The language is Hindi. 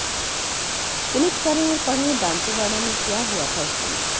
क्लिक करें और पढ़ें दांतेवाड़ा में क्या हुआ था उस दिन